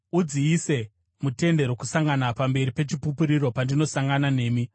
Udziise muTende Rokusangana pamberi peChipupuriro, pandinosangana nemi.